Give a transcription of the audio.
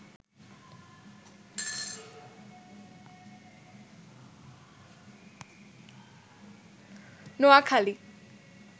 Noakhali